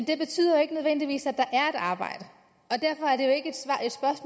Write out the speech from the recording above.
det betyder ikke nødvendigvis at der er arbejde